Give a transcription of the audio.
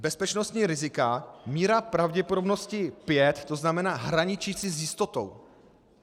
Bezpečnostní rizika - míra pravděpodobnosti pět, to znamená hraničící s jistotou.